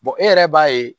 e yɛrɛ b'a ye